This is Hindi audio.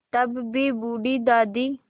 तब भी बूढ़ी दादी